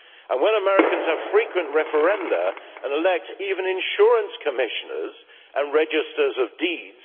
And when Americans have frequent referenda and elect even insurance commissioners and registers of deeds